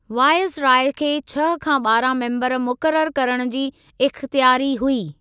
Viceroy खे छह खां ॿारहां मेम्बर मुक़ररु करण जी इख़्तियारी हुई।